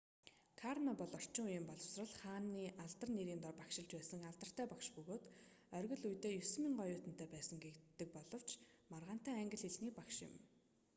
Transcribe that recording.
карно бол орчин үеийн боловсрол хааны алдар нэрийн дор багшилж байсан алдартай багш бөгөөд оргил үедээ 9,000 оюутантай байсан гэгддэг боловч маргаантай англи хэлний багш юм